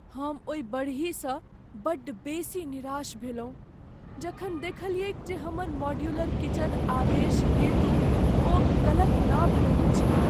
हम ओहि बढ़हीसँ बड़ बेसी निराश भेलहुँ जखन देखलियैक जे हमर मॉड्यूलर किचन आदेश हेतु ओ गलत नाप लेने छल।